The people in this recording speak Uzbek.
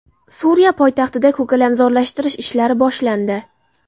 Suriya poytaxtida ko‘kalamzorlashtirish ishlari boshlandi.